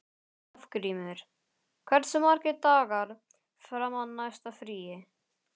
Hafgrímur, hversu margir dagar fram að næsta fríi?